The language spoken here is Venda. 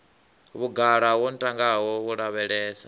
vhugala wo ntangaho u lavhelesa